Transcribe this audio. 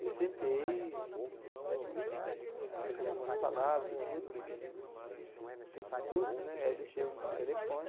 Eu sentei, aí trocamos algumas palavras e tudo né que, tempo curto né, aí deixei o telefone.